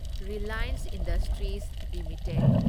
Reliance industries limited